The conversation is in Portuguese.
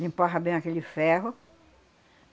Limpava bem aquele ferro.